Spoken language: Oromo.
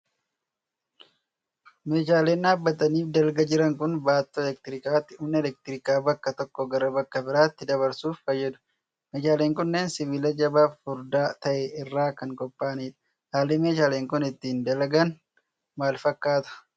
Meeshaaleen dhaabbatanii fi dalga jiran kun, baattoo elektirikaati. Humna elektirikaa bakka tokko gara bakka biraatti dabarsuuf fayyadu. Meeshaaleen kunneen, sibiila jabaa fi furdaa ta'e irraa kan qopha'a'nii dha. Haalli meeshaaleen kun, ittiin dalagan maal fakkaata?